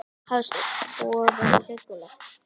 Hafsteinn: Búið að vera huggulegt?